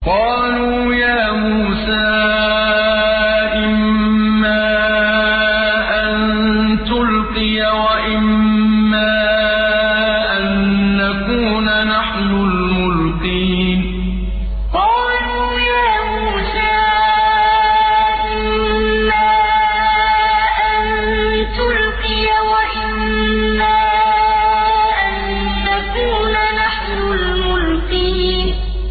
قَالُوا يَا مُوسَىٰ إِمَّا أَن تُلْقِيَ وَإِمَّا أَن نَّكُونَ نَحْنُ الْمُلْقِينَ قَالُوا يَا مُوسَىٰ إِمَّا أَن تُلْقِيَ وَإِمَّا أَن نَّكُونَ نَحْنُ الْمُلْقِينَ